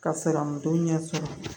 Ka fɛɛrɛ mun to ɲɛ sɔrɔ